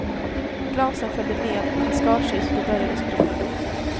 Glasen följde med och han skar sig så det började spruta blod.